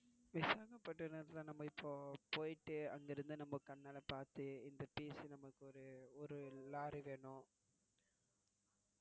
விசாகப்பட்டினதில நம்ம இப்போ போய்ட்டு அங்க இருந்து நம்ம கண்ணால பாத்து இந்த piece நமக்கு ஒரு ஒரு lorry வேணும்.